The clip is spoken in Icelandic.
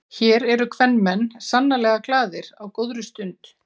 Hér eru kvenmenn sannarlega glaðir á góðri stund.